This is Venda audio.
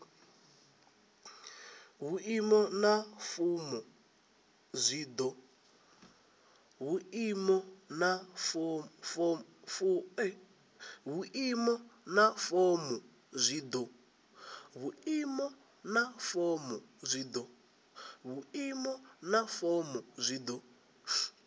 vhuimo na fomo zwi do